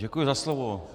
Děkuji za slovo.